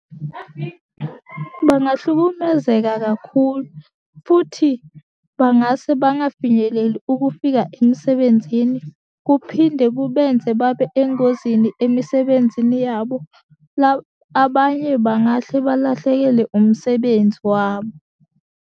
Bangahlukumezeka kakhulu, futhi bangase bangafinyeleli ukufika emsebenzini, kuphinde kubenze babe engozini emisebenzini yabo. Abanye bangahle balahlekele umsebenzi wabo.